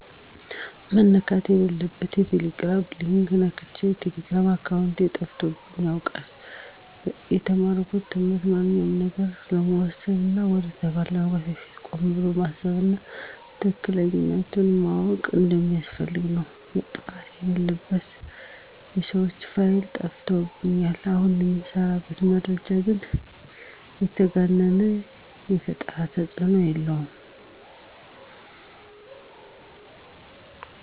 መነካት የለለበት በቴሌግራም የተላከ ሊንክ ነክቸ የቴሌግራም አካውንቴ ተጠልፎብኝ ያውቃል። የተማርኩት ትምህርትም ማንኛውንም ነገር ከመወሰን እና ወደ ተግባር ከማግባት በፊት ቆም ብሎ ማሰብ እና ትክክለኛነቱን ማዎቅ እንደሚያስፈልግ ነው። መጥፋት የለለባቸው የተዎሰኑ ፋይሎች ጠፍተውብኛል። አሁን በምሰራበት ደረጃ ግን የተጋነነ የፈጠረብኝ ተፅኖ የለም።